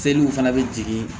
Seliw fana bɛ jigin